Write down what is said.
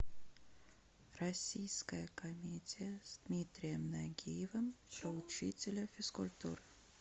российская комедия с дмитрием нагиевым про учителя физкультуры